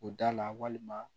O da la walima